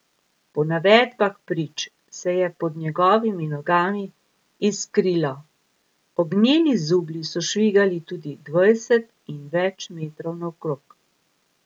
Po navedbah prič se je pod njegovimi nogami iskrilo, ognjeni zublji so švigali tudi dvajset in več metrov naokrog.